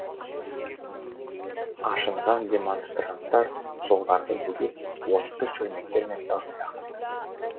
ашынған демонстранттар жолдарды бөгеп отты шөлмектер мен тас лақтырды